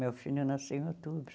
Meu filho nasceu em outubro.